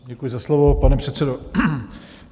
Děkuji za slovo, pane předsedo.